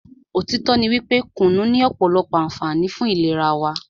òtítọ́ ní wípé kùnú ní ọ̀pọ̀lọpọ̀ ànfààní fún ìlera wa.